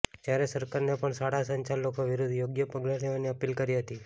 જ્યારે સરકારને પણ શાળા સંચાલકો વિરુદ્ધ યોગ્ય પગલા લેવાની અપીલ કરી હતી